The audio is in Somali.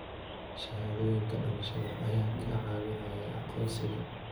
Shahaadooyinka dhalashada ayaa kaa caawinaya aqoonsiga.